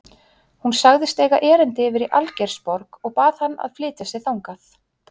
Hún sagðist eiga erindi yfir í Algeirsborg og bað hann að flytja sig þangað.